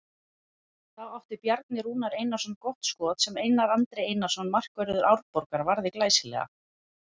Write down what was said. Þá átti Bjarni Rúnar Einarsson gott skot sem Einar Andri Einarsson markvörður Árborgar varði glæsilega.